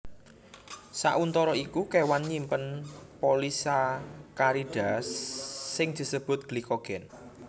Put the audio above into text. Sauntara iku kéwan nyimpen polisakarida sing disebut glikogen